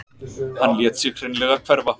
Hann lét sig hreinlega hverfa.